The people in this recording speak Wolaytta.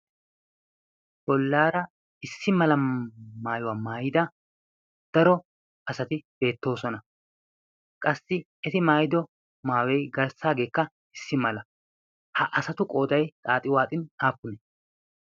bollaara issi mala maayuwaa maayida daro asati beettoosona qassi eti maayido maawei garssaageekka issi mala ha asatu qoodai xaaxi waaxin aappunee?